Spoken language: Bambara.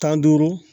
Tan ni duuru